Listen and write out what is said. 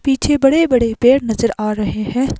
पीछे बड़े-बड़े पैर नजर आ रहे हैं।